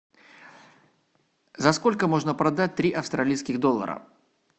за сколько можно продать три австралийских доллара